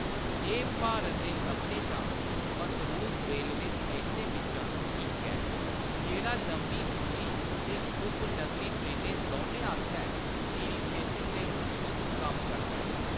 एह्‌‌ भारत दे सभनें शा मसरूफ रेलवे स्टेशनें बिच्चा इक ऐ, जेह्‌‌ड़ा लम्मी दूरी ते उपनगरी ट्रेनें दौनें आस्तै खीरी स्टेशन दे रूप च कम्म करदा ऐ।